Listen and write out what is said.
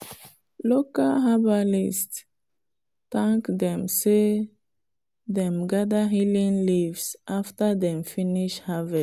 local herbalist thank dem say dem gather healing leaves after dem finish harvest.